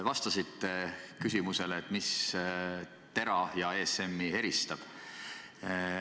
Vastasite küsimusele, mis TERA ja ESM-i eristab.